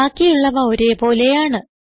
ബാക്കിയുള്ളവ ഒരേ പോലെയാണ്